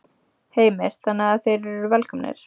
Heimir: Þannig að þeir eru velkomnir?